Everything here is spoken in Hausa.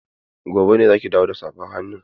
Gobe ne za ki dawo da safar hannun?